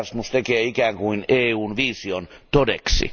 Erasmus tekee ikään kuin EUn vision todeksi.